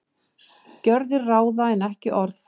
Gjörðir ráða en ekki orð